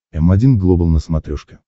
м один глобал на смотрешке